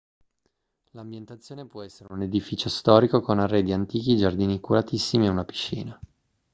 l'ambientazione può essere un edificio storico con arredi antichi giardini curatissimi e una piscina